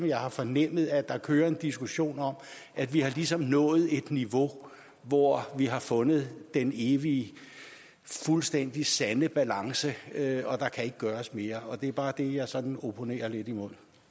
jeg har fornemmet at der kører en diskussion om at vi ligesom har nået et niveau hvor vi har fundet den evige fuldstændig sande balance og at der kan ikke gøres mere og det er bare det jeg sådan opponerer lidt imod